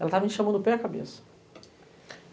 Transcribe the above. Ela estava em chama do pé e a cabeça.